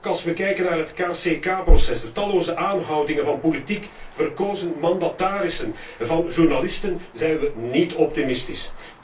Ook als wij kijken naar het KCK proces, de talloze aanhoudingen van politiek verkozen mandatarissen en van journalisten, zijn wij niet optimistisch.